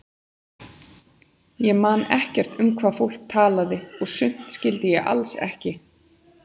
Ég man ekkert um hvað fólk talaði og sumt skildi ég alls ekki.